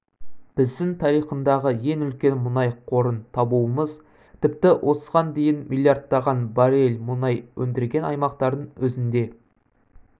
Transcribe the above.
біздің тарихындағы ең үлкен мұнай қорын табуымыз тіпті осыған дейін миллиардтаған баррель мұнай өндірген аймақтардың өзінде